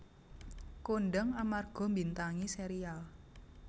Kondhang amarga mbintangi serial